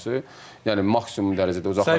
Yəni maksimum dərəcədə uzaqlaşdırılmalı.